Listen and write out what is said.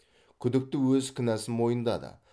күдікті өз кінәсін мойындады